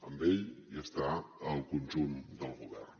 amb ell hi està el conjunt del govern